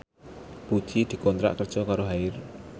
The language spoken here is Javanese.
Puji dikontrak kerja karo Haier